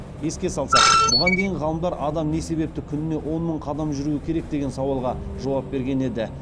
еске салсақ бұған дейін ғалымдар адам не себепті күніне он мың қадам жүруі керек деген сауалға жауап берген еді